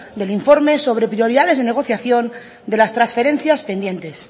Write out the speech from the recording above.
del informe sobre prioridades y negociación de las transferencia pendiente